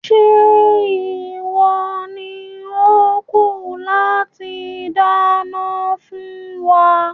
Ṣé ìwọ ni ó kù láti dáná fún wa?